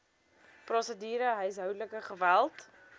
prosedure huishoudelike geweld